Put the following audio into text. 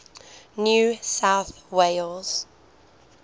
new south wales